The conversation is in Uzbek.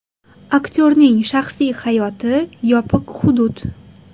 Aktyorning shaxsiy hayoti yopiq hudud.